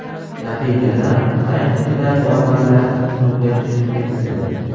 Natijada, qayiq ichidagi odamlar suvga tushib ketdi.